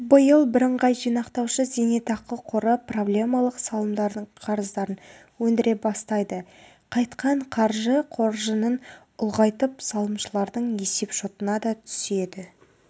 биыл бірыңғай жинақтаушы зейнетақы қоры проблемалық салымдардың қарыздарын өндіре бастайды қайтқан қаржы қор қоржынын ұлғайтып салымшылардың есепшотына да түседі